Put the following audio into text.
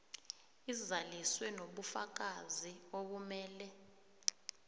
izaliswe nobufakazi obumele